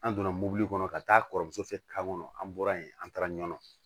An donna mobili kɔnɔ ka taa kɔrɔmuso fɛ ka kɔnɔ an bɔra yen an taara ɲɔɔn